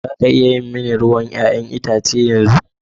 Za a iya yi mani ruwan 'ya'yan itace yanzu?